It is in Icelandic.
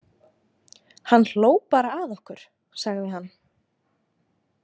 Hann hló bara að okkur, sagði hann.